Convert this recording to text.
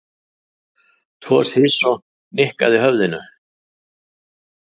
Toshizo nikkaði höfðinu.